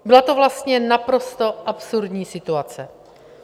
Byla to vlastně naprosto absurdní situace.